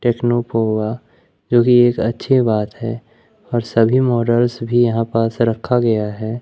Techno Pova जो कि एक अच्छी बात है और सभी मॉडल्स भी यहां पास रखा गया है?